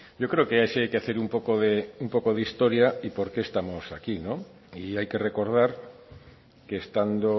yo creo que sí hay que hacer un poco de historia y porque estamos aquí y hay que recordar que estando